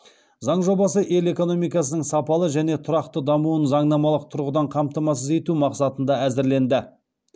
заң жобасы ел экономикасының сапалы және тұрақты дамуын заңнамалық тұрғыдан қамтамасыз ету мақсатында әзірленді